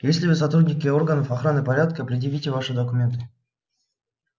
если вы сотрудники органов охраны порядка предъявите ваши документы